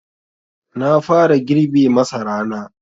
Na fara girbe masarana.